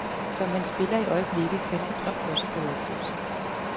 Som han spiller i øjeblikket, kan den drøm også gå i opfyldelse.